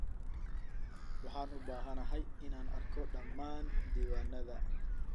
Waxaan u baahanahay inaan arko dhammaan diiwaannadaada.